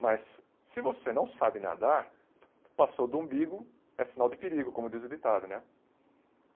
Mas se você não sabe nadar, passou do umbigo, é sinal de perigo, como diz o ditado, né?